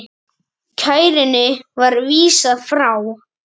Kærunni var vísað frá.